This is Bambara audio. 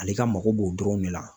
Ale ka mako b'o dɔrɔnw de la